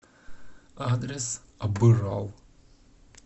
адрес абырал